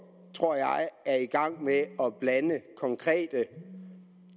er i gang med at blande konkrete